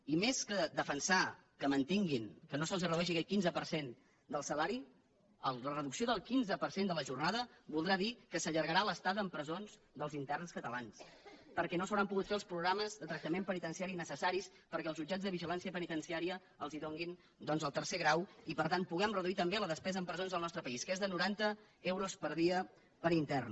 i més que defensar que mantinguin que no se’ls redueixi aquest quinze per cent del salari la reducció del quinze per cent de la jornada voldrà dir que s’allargarà l’estada en presons dels interns catalans perquè no s’hauran pogut fer els programes de tractament penitenciari necessaris perquè els jutjats de vigilància penitenciària els donin doncs el tercer grau i per tant puguem reduir també la despesa en presons al nostre país que és de noranta euros per dia per intern